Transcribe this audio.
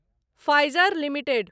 Pfizer limited